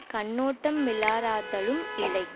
கண்ணோட்டமிலராதலும் இல்லை